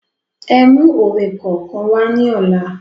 Ẹ mú òwe kọ̀ọ̀kan wá ní ọ̀la